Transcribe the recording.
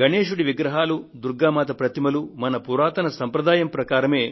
గణేశుడి విగ్రహాలు దుర్గా మాత ప్రతిమలు మన పురాతన సంప్రదాయం ప్రకారమే